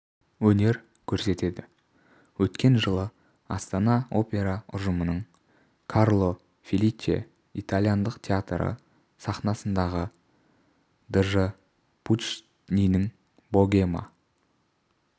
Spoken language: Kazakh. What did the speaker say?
өнер көрсетеді өткен жылы астана опера ұжымының карло феличе итальяндық театры сахнасындағы дж пуччинидің богема